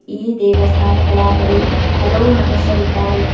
ಈ ದೇವಸ್ಥಾನಗಳ ಬಳಿ ಹಲವು ಮನುಷ್ಯರಿದ್ದಾರೆ.